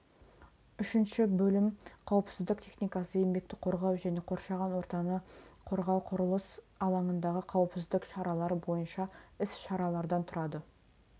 үшінші бөлім қауіпсіздік техникасы еңбекті қорғау және қоршаған ортаны қорғау құрылыс алаңындағы қауіпсіздік шаралары бойынша іс-шаралардан тұрады